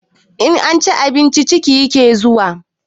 In an ci abinci ciki yake zuwa